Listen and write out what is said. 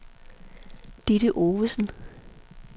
Ditte Ovesen